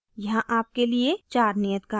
यहाँ आपके लिए चार नियत कार्य हैं